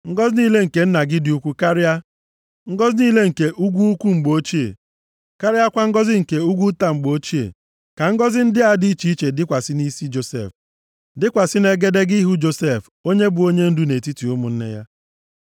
Ngọzị niile nke nna gị, dị ukwu karịa, ngọzị niile nke ugwu ukwu mgbe ochie, karịakwa ngọzị nke ugwu nta mgbe ochie, Ka ngọzị ndị a dị iche dịkwasị nʼisi Josef, dịkwasị nʼegedege ihu Josef, onye bụ onyendu nʼetiti ụmụnne ya.